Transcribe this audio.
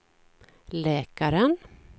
läkaren